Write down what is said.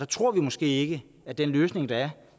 tror måske ikke at den løsning der er